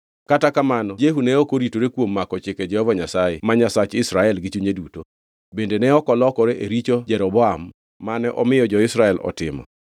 Kata kamano Jehu ne ok oritore kuom mako chike Jehova Nyasaye ma Nyasach Israel gi chunye duto. Bende ne ok olokore e richo Jeroboam, mane omiyo jo-Israel otimo.